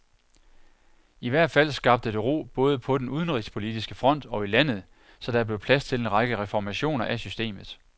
I hvert fald skabte det ro både på den udenrigspolitiske front og i landet, så der blev plads til en række reformationer af systemet.